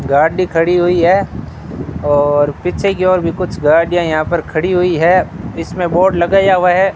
गाडी खड़ी हुई है और पीछे की ओर भी कुछ गाड़ियां यहां पर खड़ी हुई है इसमें बोर्ड लगाया हुआ है।